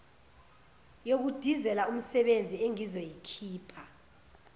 yokudizela umsebezi engizoyikhipha